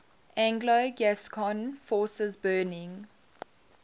anglo gascon forces burning